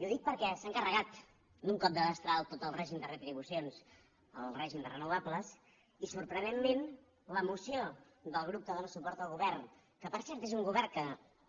i ho dic perquè s’han carregat d’un cop de destral tot el règim de retribucions el règim de renovables i sorprenentment la moció del grup que dóna suport al govern que per cert és un govern que